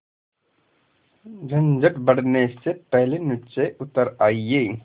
झंझट बढ़ने से पहले नीचे उतर आइए